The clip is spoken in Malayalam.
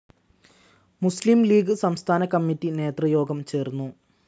മുസ്ലിം ലീഗ്‌ സംസ്ഥാനകമ്മിറ്റി നേതൃയോഗം ചേർന്നു.